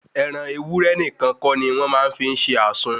Ẹran ewúré nìkan kọ́ ni wọ́n máa ń fi ṣe àsun